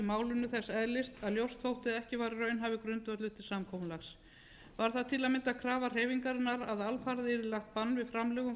málinu þess eðlis að ljóst þótti að ekki var raunhæfur grundvöllur til samkomulags var það til að mynda krafa hreyfingarinnar að alfarið yrði lagt bann við framlögum frá